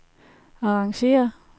arrangér